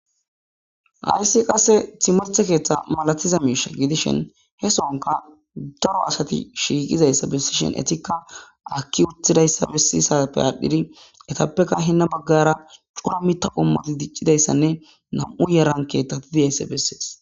Hayissi qasse timirite ketha malatidda misha gidishini, hessonika darro assati shiqidayisa besbesishini enitika aki utidayissa besishini enitape heni baggara corra mitha qomoti bettidayisane namu'u yara kethati dosdona